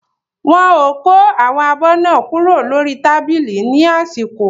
Wọ́n ò kó àwọn abọ́ náà kúrò lórí tábìlì ní àsìkò.